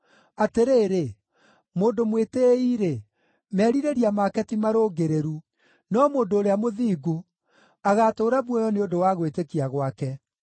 “Atĩrĩrĩ, mũndũ mwĩtĩĩi-rĩ, merirĩria maake ti marũngĩrĩru; no mũndũ ũrĩa mũthingu agatũũra muoyo nĩ ũndũ wa gwĩtĩkia gwake;